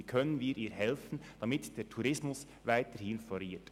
Wie können wir ihr helfen, damit der Tourismus weiterhin floriert?